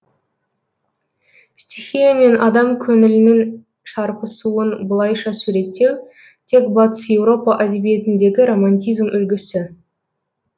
стихия мен адам көңілінің шарпысуын бұлайша суреттеу тек батыс еуропа әдебиетіндегі романтизм үлгісі